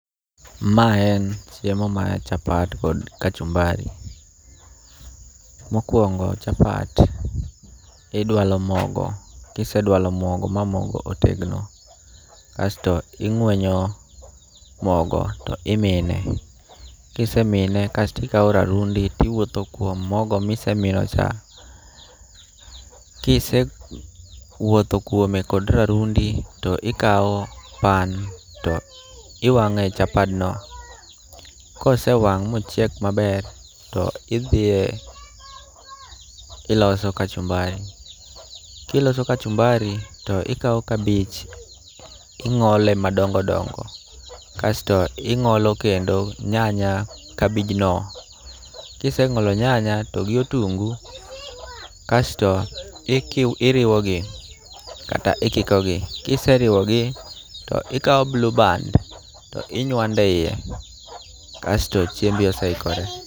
Mae en chiemo mar chapat kod kachumbari. Mokwongo chapat idwalo mogo kisedwalo mogo ma mogo otegno kasto ing'wenyo mogo to imine. Kisemine kasto ikaw rarundi ti wuotho kuom mogo mise mino cha. Kise wuothe kuome kod rarundi to ikaw pan to iwang'e chapad no. Kose wang' mochiek maber to idhiye iloso kachumbari. Kiloso kachumbari to ikaw kabich ting'ole madongo dongo kasto ing'ole kendi nyanya kabij no. Kise ng'olo nyanya to gi otungu kasto iriwo gi kata ikiko gi. Kiseriwo gi to ikaw Blue Band to inywando e iye kasto chiembi ose ikore.